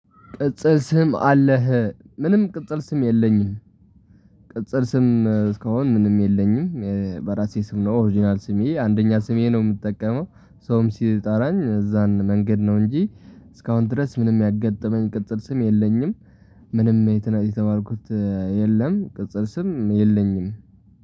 ቅጽል ስም አለህ ምንም ቅጽል ስም የለኝም። ቅጽል ስም እስካሁን ምንም የለኝም በራሴ ስም ነው። ኦሪጅናል ስሜ አንደኛ ስሜ ነው የምጠቀመው። ሰውም ሲጠራኝ እዛን መንገድ ነው እንጂ። እስካሁን ድረስ ምንም ያጋጠመኝ ቅጽል ስም የለኝም። ምንም የተ የተማርኩት የለም። ቅጽል ስም የለኝም።